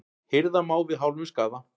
Hirða má við hálfum skaða.